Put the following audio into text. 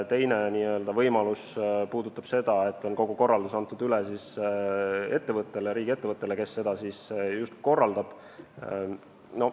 Teine võimalus on selline, et kogu korraldus on antud üle riigiettevõttele, kes seda korraldab.